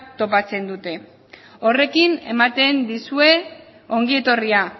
topatzen dute horrekin ematen dizue ongietorria